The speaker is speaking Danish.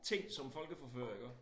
Ting som folkeforfører iggå